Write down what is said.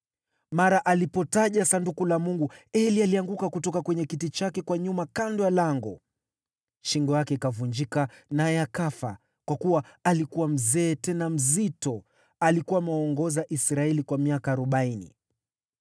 Mara alipotaja Sanduku la Mungu, Eli alianguka kutoka kwenye kiti chake kwa nyuma kando ya lango. Shingo yake ikavunjika naye akafa, kwa kuwa alikuwa mzee tena mzito. Alikuwa amewaongoza Israeli kwa miaka arobaini.